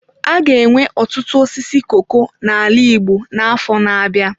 A ga-enwe ọtụtụ osisi koko n'ala Igbo n'afọ na-abịa.